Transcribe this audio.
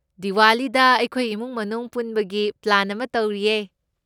ꯗꯤꯋꯥꯂꯤꯗ ꯑꯩꯈꯣꯏ ꯏꯃꯨꯡ ꯃꯅꯨꯡ ꯄꯨꯟꯕꯒꯤ ꯄꯂꯥ꯭ꯟ ꯑꯃ ꯇꯧꯔꯤꯌꯦ꯫